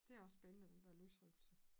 Det også spændende den dér løsrivelse